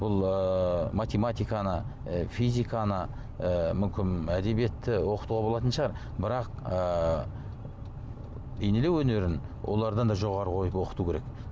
бұл ыыы математиканы ы физиканы ы мүмкін әдебиетті оқытуға болатын шығар бірақ ыыы бейнелеу өнерін олардан да жоғары қойып оқыту керек